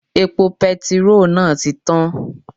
Epo petiró náà ti tán